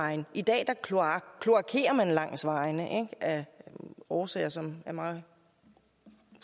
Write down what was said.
vegne i dag kloakerer man langs vejene af årsager som er mig